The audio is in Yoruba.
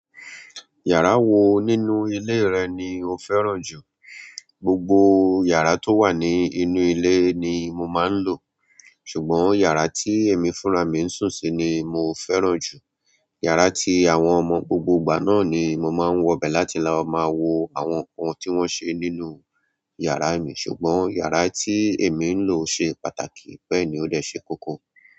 Yàrá wo nínú ilé rẹ ni o fẹ́ràn jù. Gbogbo yàrá tó wà ní inú ilé ni mo máa ń lò. Ṣùgbọ́n yàrá tí èmi fúnra mi ń sùn sí ni mo fẹ́ràn jù. Yàrá tí àwọn ọmọ gbogbo ìgbà náà ni mo máa ń wọ bẹ̀ láti máa wo àwọn nǹkan tí wọ́n ṣe nínú yàrá mi. Ṣùgbọ́n yàrá tí èmi ń lò ṣe pàtàkì bẹ́ẹ̀ ni ó dẹ̀ ṣe kókó.